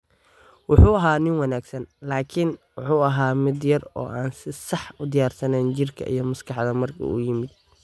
"Wuxuu ahaa nin wanaagsan, laakiin wuu ahaa mid yar oo aan si sax u diyaarsan jirka iyo maskaxda markii uu yimid."